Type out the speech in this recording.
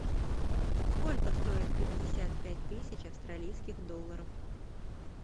сколько стоит пятьдесят пять тысяч австралийских долларов